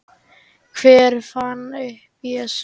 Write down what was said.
Hver fann upp Jesú?